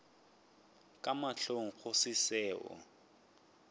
ka mahlong go se seo